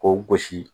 K'o gosi